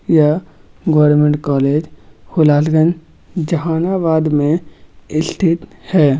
यह government college Hulasganj Jehanabad मे स्थित है।